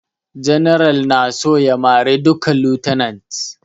General na so ya mare duka lieutenants